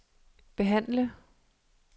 behandle